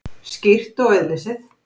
Skýrt og auðlesið.